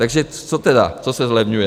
Takže co tedy, co se zlevňuje?